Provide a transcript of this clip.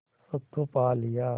सब तो पा लिया